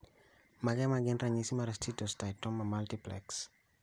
Mage magin ranyisi mag Steatocystoma multiplex